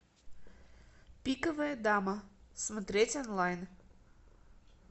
пиковая дама смотреть онлайн